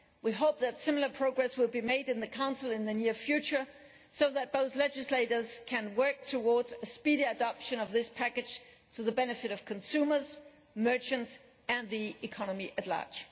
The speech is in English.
We hope that similar progress will be made in the Council in the near future, so that both legislators can work towards a speedy adoption of this package, to the benefit of consumers, merchants and the economy at large.